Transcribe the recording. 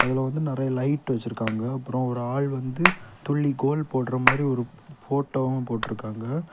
இதுல வந்து நிறைய லைட் வச்சிருக்காங்க அப்புறம் ஒரு ஆள் வந்து துள்ளி கோல் போடுற மாதிரி ஒரு போட்டோவு போட்ருக்காங்க.